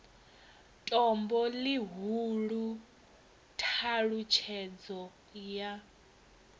tombo ḽihulu t halutshedzo ya